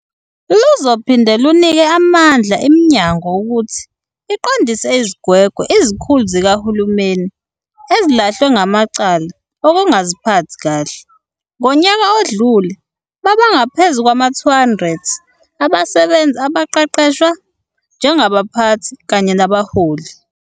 Luzophinde lunike amandla iminyango ukuthi iqondise izigwegwe izikhulu zikahulumeni ezilahlwe ngamacala okungaziphathi kahle. Ngonyaka odlule babangaphezu kwama-200 abasebenzi abaqeqeshwa njengabaphathi kanye nabaholi.